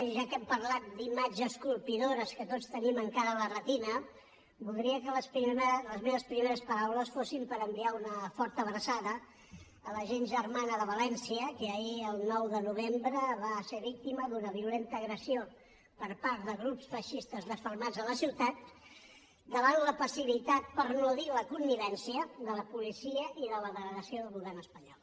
ja que hem parlat d’imatges colpidores que tots tenim encara a la retina voldria que les meves primeres paraules fossin per enviar una forta abraçada a la gent germana de valència que ahir el nou d’octubre va ser víctima d’una violenta agressió per part de grups feixistes desfermats a la ciutat davant la passivitat per no dir la connivència de la policia i la delegació del govern espanyol